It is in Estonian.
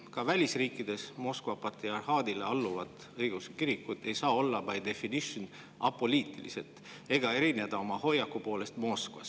Ka välisriikides Moskva patriarhaadile alluvad õigeusu kirikud ei saa olla by definition apoliitilised ega erineda oma hoiaku poolest Moskvast.